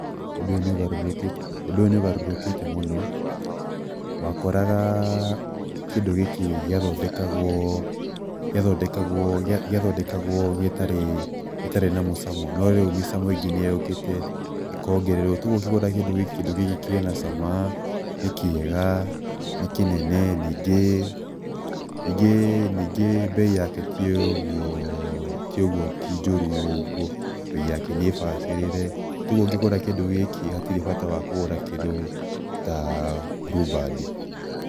Ũndũ ũyũ nĩ ũgarũrũkĩte mũno, wakoraga kĩndũ gĩkĩ gĩathondekagwo gĩtarĩ na mũcamo, no rĩu mĩcamo ĩngĩ nĩ yũkĩte ĩkongererwo toguo ũkĩgũra kĩndũ gĩkĩ, kĩndũ gĩkĩ kĩ na cama, nĩ kĩega, nĩ kĩnene, ningĩ bei yake ti ũguo, ti njoru ũguo, bei yake nĩ bacĩrĩre, togũo ũkĩgũra kĩndũ gĩkĩ hatirĩ bata wa kũgũra kĩndũ ta Blue Band.